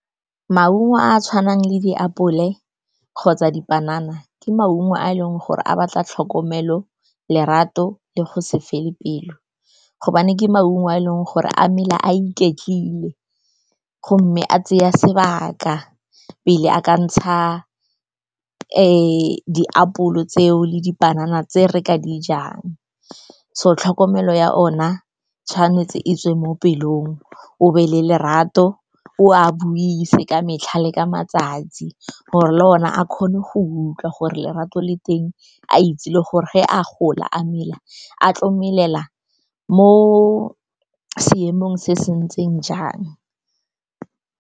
Maungo a a tshwanang le diapole kgotsa dipanana ke maungo a e leng gore a batla tlhokomelo, lerato le go se fele pelo, gobane ke maungo a e leng gore a mela a iketlile gomme a tsaya sebaka pele a ka ntsha diapole tseo le dipanana tse re ka dijang. So, tlhokomelo ya ona tshwanetse e tswe mo pelong, o be le lerato, o a buise ka metlha le ka matsatsi gore le one a kgone go utlwa gore lerato le teng, a itse le gore ge a gola, a mela a tlo melela mo seemong se se ntseng jang.